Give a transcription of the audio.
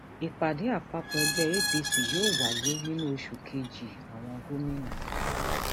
ìpàdé àpapọ ẹgbẹ apc yóò wáyé nínú oṣù kejìàwọn gómìnà